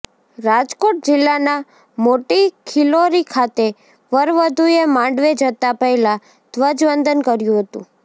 રાજકોટ જિલ્લાના મોટીખીલોરી ખાતે વરવધુએ માંડવે જતા પહેલા ધ્વજવંદન કર્યું હતું